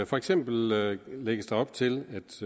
for eksempel lægges der op til